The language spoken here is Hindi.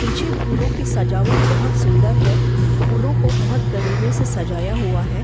पीछे फूलों की सजावट बहुत सुन्दर है फूलों को बहुत करीने से सजाया हुआ है।